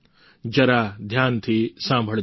જરા ધ્યાનથી સાંભળજો